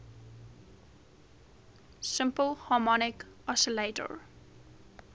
simple harmonic oscillator